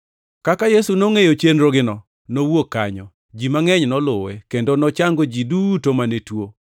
Kaka Yesu nongʼeyo chenrogino, nowuok kanyo. Ji mangʼeny noluwe, kendo nochango ji duto mane tuo,